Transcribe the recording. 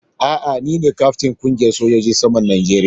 A'a, ni na kyaftin na kungiyan sojojin saman Najeriya.